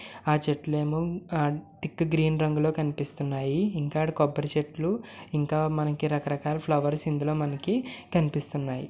ఆ చెట్లేమో ఆ టిక్ గ్రీన్ రంగులో కనిపిస్తున్నాయి ఇంకా అటు కొబ్బరి చెట్లు ఇంకా మనకు రకరకాల ఫ్లవర్స్ ఇందులో కానీపిస్తున్నాయి.